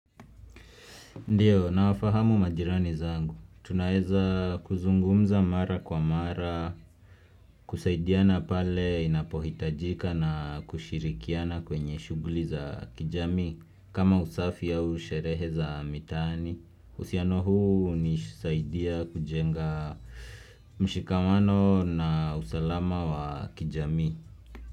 Ndiyo nawafahamu majirani zangu, tunaeza kuzungumza mara kwa mara, kusaidiana pale inapohitajika na kushirikiana kwenye shughuli za kijami, kama usafi au usherehe za mitani, usihuano huu hunisaidia kujenga mshikamano na usalama wa kijamii.